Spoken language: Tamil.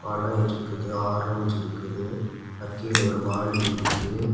பழம் இருக்குது ஆரஞ்சு இருக்குது அக்கீழ ஒரு வாளி இருக்குது.